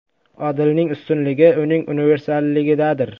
Odilning ustunligi uning universalligidadir.